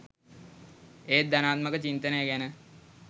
ඒත් ධනාත්මක චින්තනය ගැන